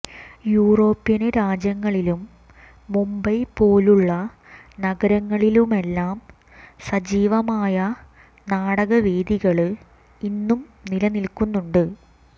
European രാജ്യങ്ങളിലും മുംബൈ പോലുള്ള നഗരങ്ങളിലുമെല്ലാം സജീവമായ നാടകവേദികള് ഇന്നും നിലനില്ക്കുന്നുണ്ട്